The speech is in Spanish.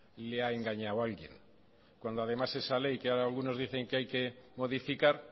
le ha engañado alguien cuando además esa ley que ahora algunos dicen que hay que modificar